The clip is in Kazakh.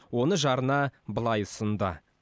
оны жарына былай ұсынды